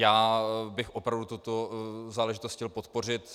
Já bych opravdu tuto záležitost chtěl podpořit.